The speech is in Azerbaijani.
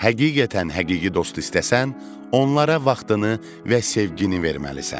Həqiqətən həqiqi dost istəsən, onlara vaxtını və sevgini verməlisən.